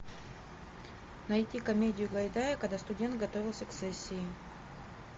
найти комедию гайдая когда студент готовился к сессии